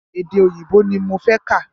Èdè òyìnbó ní mo fẹ́ kà.